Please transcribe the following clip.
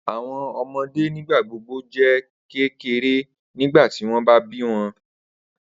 Awọn ọmọde nigbagbogbo jẹ kekere nigbati wọn ba bi wọn